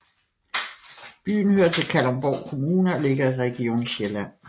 Byen hører til Kalundborg Kommune og ligger i Region Sjælland